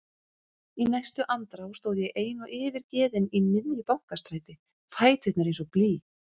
Í næstu andrá stóð ég ein og yfirgefin í miðju Bankastræti, fæturnir eins og blý.